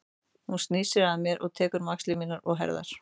Hún snýr sér að mér og tekur um axlir mínar og herðar.